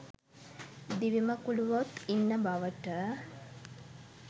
දිවිමකුලූවොත් ඉන්න බවට